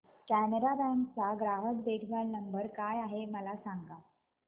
Canara bank चा ग्राहक देखभाल नंबर काय आहे मला सांगा